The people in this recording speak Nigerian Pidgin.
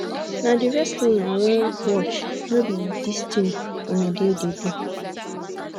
na the wrestling i wan watch no be dis thing una dey dey do